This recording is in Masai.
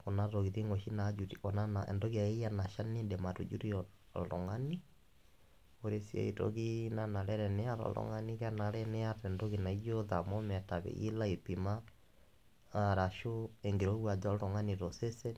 kuna tokitin oshi najuti, kuna , entoki akeyie nashal nindim atujutie oltungani, ore siae toki nanare teniata oltungani, kenare niata naijo thermometer peyie ilo aipima arashu enkirowuaj oltungani tosesen .